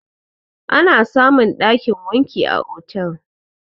Ana samun ɗakin wanki a otel